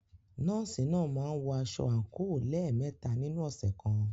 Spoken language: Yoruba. Nọ́ọ̀sì náà máa ń wọ aṣọ àǹkóò lẹ́ẹ̀mẹta nínu ọ̀sẹ̀ kan.